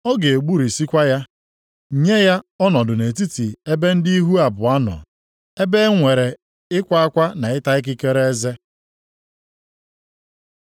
Ọ ga-egburisikwa ya, nye ya ọnọdụ nʼetiti ebe ndị ihu abụọ nọ. Ebe e nwere ịkwa akwa na ịta ikikere eze.